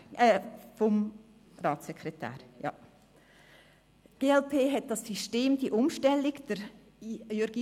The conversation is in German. Die glp begrüsst das System respektive die Umstellung, wonach man die Gewalten besser trennt.